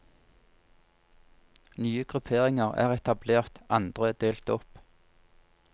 Nye grupperinger er etablert, andre delt opp.